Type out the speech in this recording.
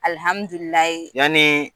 yani